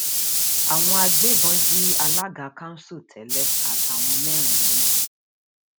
àwọn agbébọn jí alága kanṣu tẹlẹ àtàwọn mẹrin mi